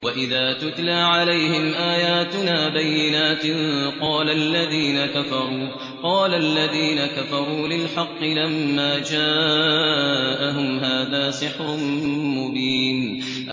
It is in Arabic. وَإِذَا تُتْلَىٰ عَلَيْهِمْ آيَاتُنَا بَيِّنَاتٍ قَالَ الَّذِينَ كَفَرُوا لِلْحَقِّ لَمَّا جَاءَهُمْ هَٰذَا سِحْرٌ مُّبِينٌ